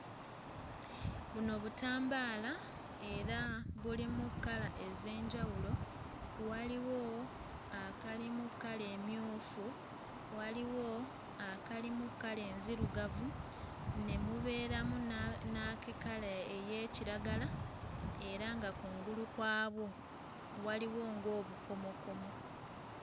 Buno butambaala era bulimu kkala ez'enjawulo; waliwo akalimu kkala emmyufu, waliwo akalimu kkala enzirugavu ne mubeeramu na n'ak'ekkala ey'ekiragala era nga kungulu kwabwo waliwo ng'obukomokomo.